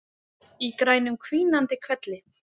Í grænum hvínandi hvelli.